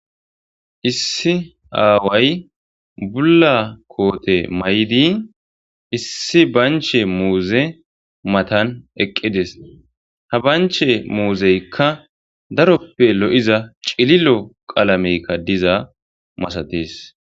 Issi aaway bulla koote may'di issi banche muuze matan eqqides ha banche muuzeykka daroppe lo'iza cililo qalamekka diza masatees